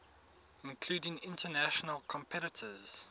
including international competitors